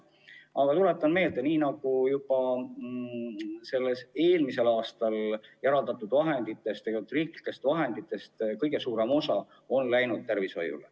Aga tuletan meelde, et eelmisel aastal eraldatud riiklikest vahenditest läks kõige suurem osa tervishoiule.